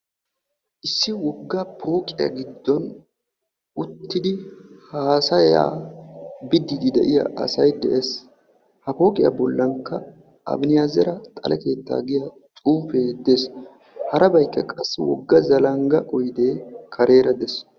issi woga pooqiya giddon uttidi haasaya bidiidi des, ha pooqiya bolankka abineezera xale keettaa giya xuufee des, harabaykka qassi woga zalanga oydee des.